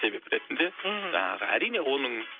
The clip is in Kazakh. себеп ретінде мхм жаңағы әрине оның